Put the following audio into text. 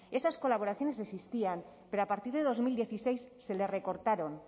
esas colaboraciones existían pero a partir de dos mil dieciséis se les recortaron